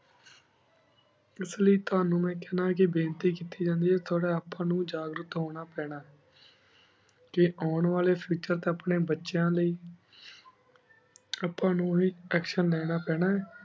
ਇਸ ਲੈ ਤਨੁ ਮੈਂ ਖੰਡਾ ਕੀ ਬੇਨਤੀ ਕੀਤੀ ਜਾਂਦੀ ਆਯ ਕੀ ਥੋਰਾ ਆਪਣ ਨੀ ਉਜਘ ਰਾਤ ਹੁਣ ਪਾਨਾ ਟੀ ਉਨ੍ਵਾਲਾ future ਅਪਨ੍ਯਨ ਬਚੇਯਾਂ ਲੈ ਅਪਾ ਨੂ ਹੇ action ਲੇਣਾ ਪਾਨਾ ਆਯ